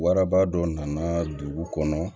Waraba dɔ nana dugu kɔnɔ